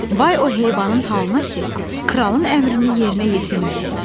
Vay o heyvanın halına ki, kralın əmrini yerinə yetirməyəydi.